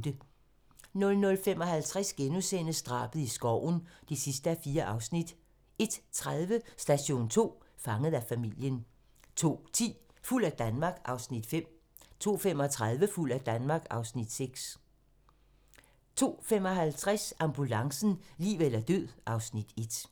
00:55: Drabet i skoven (4:4)* 01:30: Station 2: Fanget af familien 02:10: Fuld af Danmark (Afs. 5) 02:35: Fuld af Danmark (Afs. 6) 02:55: Ambulancen - liv eller død (Afs. 1)